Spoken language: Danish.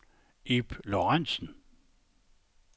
Ib Lorentsen